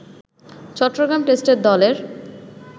চট্টগ্রাম টেস্টের দলের